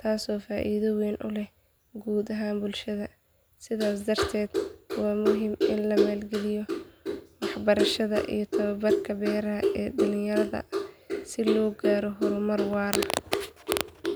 taasoo faa’iido weyn u leh guud ahaan bulshada. Sidaas darteed waa muhiim in la maalgeliyo waxbarashada iyo tababarka beeraha ee dhalinyarada si loo gaaro horumar waara.